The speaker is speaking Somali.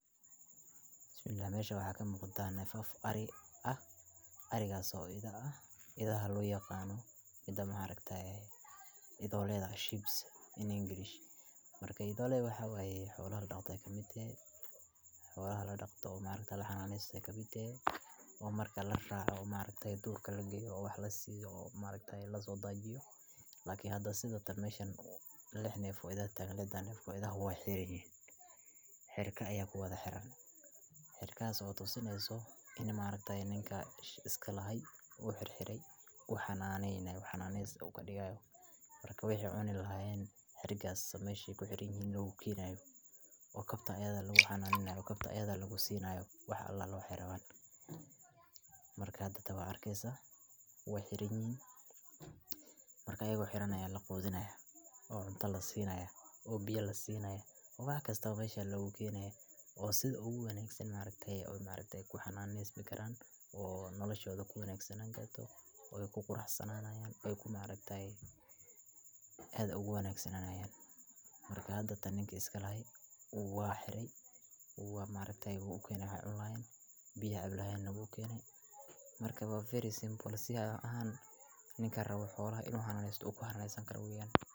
Bismilah meshan waxaa kamuqda nefaf ari ah arigas oo ah idha, idhahas oo loyaqano idholeeda sheep's in English marka idholedha waxaa waye xolaha ladaqdo ayey kamiid tehe, xolaha ladaqdo oo laxanesto ee marka kamiid tehe marki laraco oo durka lageyo oo wax lasiyo oo maragtaye laso dajiyo oo maragtaye hada meshan lix nef aya tagan lixda nef oo idhaha wey xiran yihin, xirka aya kuwadha xiran tas oo tusineysa ini maaragtaye ninka iska lahay oo xir xire u xananeynayo in u xananes kadigi hayo markas waxi ee cuni lahayen xirigas meshi ee ku xiran yahan aya logu kenaya oo kabta ayada lagu xananeynayo oo kabta ayadha eh lagu sinayo wax alale waxi ee rawan, marka hada waa arkeysa wey xiran yihin, marka iyaga oo xiran aya laqudhini haya oo cunta lasini haya oo biya lasinaya wax kista mesha aya logu kenaya oo sitha ogu wanagsan oo ee ku xananesmi karan oo noloshoda kuwanagsanani karto oo ku quraxsanani karto ee aad ayey ogu wanagsanayan marka tan maaragtey ninki iska lahay waa xiray waa maargtaye wu ukene waxi ee cunilahayen biyahi ee cabi lahayena wu ukeney marka waa very simple ninka rawo xolaha in u xananesto u ku xananesan karo u yahay.